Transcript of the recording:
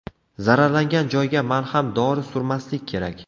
Zararlangan joyga malham dori surmaslik kerak.